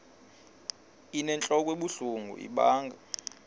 inentlok ebuhlungu ibanga